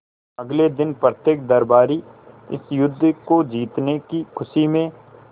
अगले दिन प्रत्येक दरबारी इस युद्ध को जीतने की खुशी में